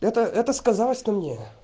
это это сказалось что мне